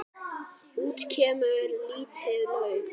Út kemur lítið lauf.